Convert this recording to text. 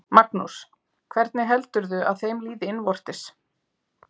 Magnús: Hvernig heldurðu að þeim líði innvortis?